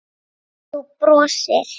Þú brosir.